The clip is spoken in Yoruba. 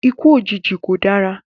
Ikú òjijì kò dára